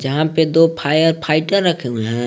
यहां पे दो फायर फाइटर रखें हुए हैं।